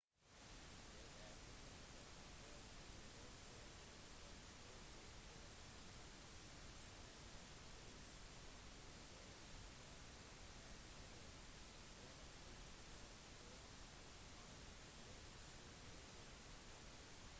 det er kun enkle forberedelser som skal til for en dagstur langs en lett tursti og alle som er i relativt god form kan glede seg over det